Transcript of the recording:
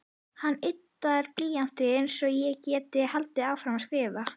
Hann yddar blýantinn svo ég geti haldið áfram að skrifa.